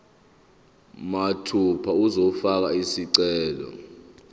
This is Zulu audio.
mathupha uzofaka isicelo